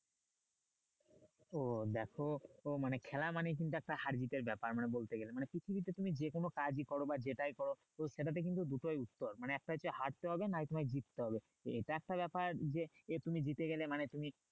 ও দেখো তো মানে খেলা মানে কিন্তু একটা হার জিতের ব্যাপার মানে বলতে গেলে মানে পৃথিবীতে তুমি যে কোনো কাজই করো বা যেটাই করো সেটাতে কিন্তু দুটোই বিষয় মানে একটা হচ্ছে হারতে হবে নই তোমায় জিততে হবে এটা একটা ব্যাপার যে এ তুমি জিতে গেলে মানে তুমি